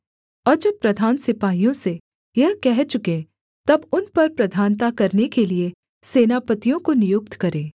और जब प्रधान सिपाहियों से यह कह चुकें तब उन पर प्रधानता करने के लिये सेनापतियों को नियुक्त करें